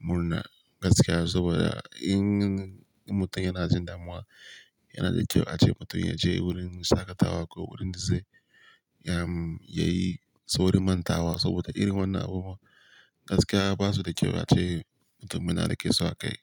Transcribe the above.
murna gaskiya saboda in, mutum yana jin damuwa yana da kyau a ce mutum ya je wurin shaƙatawa ko wurin da zai yayi sauri mantawa saboda irin wannan abubuwa gaskiya ba su da kyau a ce mutum yana da ƙeso a kai.